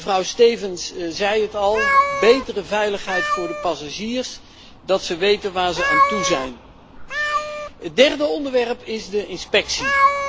Mevrouw Stevens zei het al betere veiligheid voor de passagiers, dat ze weten waar ze aan toe zijn. Het derde onderwerp is de inspectie.